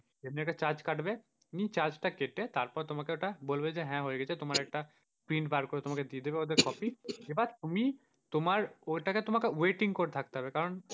একটা charge কাটবে charge টা কেটে তারপর তোমাকে ওটা বলবে যে হ্যাঁ হয়ে গেছে তোমার একটা print বার করে তোমাকে দিয়ে দেবে তোমাদের copy এবার তুমি তোমার ওইটাকে তোমাকে waiting করে থাকতে হবে। কারণ,